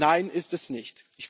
Nein, ist es nicht.